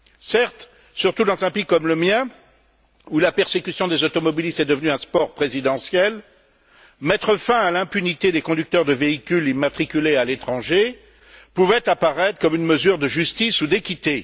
Certes, surtout dans un pays comme le mien, où la persécution des automobilistes est devenue un sport présidentiel, mettre fin à l'impunité des conducteurs de véhicules immatriculés à l'étranger pouvait apparaître comme une mesure de justice ou d'équité.